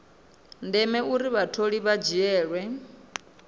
ndeme uri vhatholiwa vha dzhiele